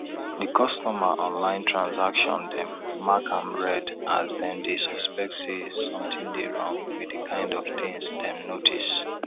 di customer online transaction dem mark am red as dem dey suspect say sth dey wrong with di kind of things dem notice